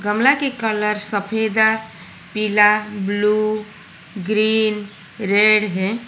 गमला के कलर सफेद है पीला ब्लू ग्रीन रेड हैं।